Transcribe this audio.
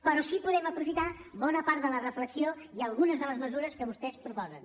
però sí que podem aprofitar bona part de la reflexió i algunes de les mesures que vostès proposen